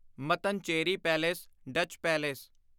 Mattancherry palace Dutch palace